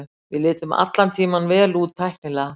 Við litum allan tímann vel út tæknilega.